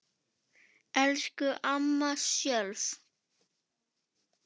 Elsku amma Sjöfn.